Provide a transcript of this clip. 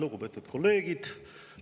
Lugupeetud kolleegid!